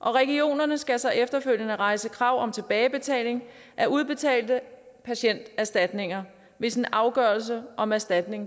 og regionerne skal så efterfølgende rejse krav om tilbagebetaling af udbetalte patienterstatninger hvis en afgørelse om erstatning